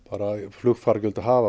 flugfargjöld hafa